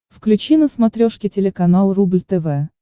включи на смотрешке телеканал рубль тв